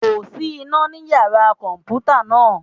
Kò sí iná ní Yàrá kọ̀m̀pútà náà.